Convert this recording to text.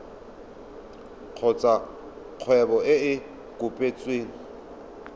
kgotsa kgwebo e e kopetsweng